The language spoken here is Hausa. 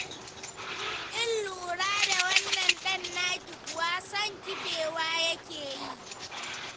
Kin lura da wannan ɗan naki kuwa, son kifewa yake yi.